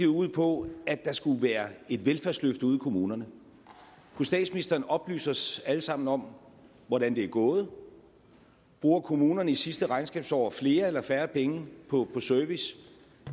ud på at der skulle være et velfærdsløft ude i kommunerne kunne statsministeren oplyse os alle sammen om hvordan det er gået bruger kommunerne i sidste regnskabsår flere eller færre penge på service